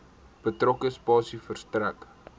betrokke spasie verstrek